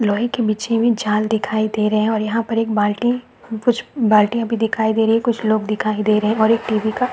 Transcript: लोहे की बिछी हुई झाल दिखाई दे रही है और यहाँ पर एक बाल्टी कुछ बाल्टियाँ भी दिखाई दे रही है कुछ लोग दिखाई दे रहे है और एक टी_वी का --